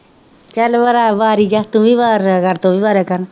ਕਹਿ ਵਾਰੀ ਜਾ, ਤੂੰ ਵੀ ਵਾਰ ਲਿਆ ਕਰ, ਤੂੰ ਵੀ ਵਾਰਿਆ ਕਰ,